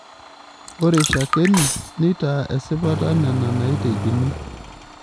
Ore shakeni neitaa esipata nena naitekini.